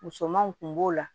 Musomanw kun b'o la